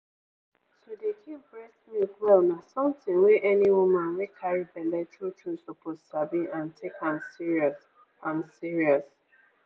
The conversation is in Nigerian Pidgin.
to dey keep breast milk well na something wey any woman wey carry belle true true suppose sabi and take am serious. am serious.